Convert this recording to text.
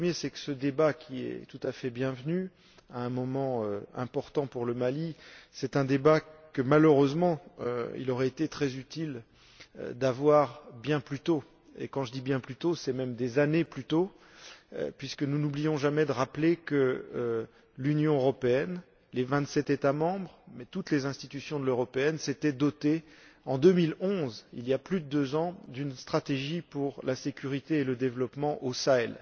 Le premier, c'est que ce débat, qui est tout à fait bienvenu à un moment important pour le Mali, est un débat que, malheureusement, il aurait été très utile d'avoir bien plus tôt. Et quand je dis bien plus tôt, c'est même des années plus tôt, puisque nous n'oublions jamais de rappeler que l'Union européenne, les vingt sept États membres et toutes les institutions européennes s'étaient dotés, en 2011, il y plus de deux ans, d'une stratégie pour la sécurité et le développement au Sahel.